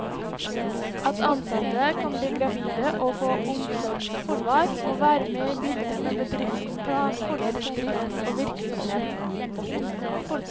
At ansatte kan bli gravide og få omsorgsansvar, må være med i bildet når bedriften planlegger drift og virksomhet.